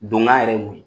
Donna yɛrɛ ye mun ye